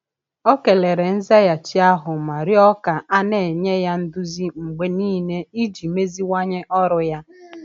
Ọ kelere nzaghachi ahụ ma rịọ ka a na-enye ya nduzi mgbe niile iji meziwanye ọrụ ya.